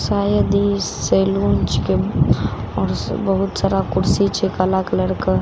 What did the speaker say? शायद ई सैलून छिकए पास बहुत सारा कुर्सी छे काला कलर कें --